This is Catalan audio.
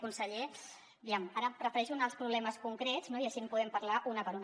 conseller aviam ara prefereixo anar als problemes concrets no i així en podem parlar un per un